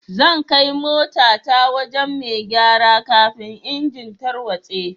Zan kai mota ta wajen mai gyara kafin engine tarwatse.